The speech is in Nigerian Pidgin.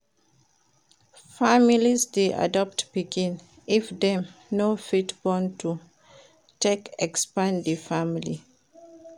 Families de adopt pikin if dem no fit born to take expand di family